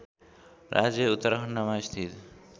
राज्य उत्तराखण्डमा स्थित